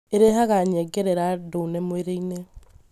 Ĩrehaga nyengerera ndune mwĩrĩinĩ.